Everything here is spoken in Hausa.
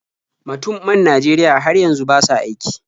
Matun man Najeriya har yanzu ba sa aiki.